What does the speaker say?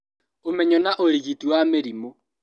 Ũmenyo na ũrigiti wa mĩrimũ